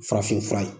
Farafin fura ye